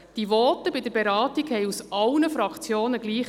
Die Voten bei der Beratung lauteten aus allen Fraktionen gleich.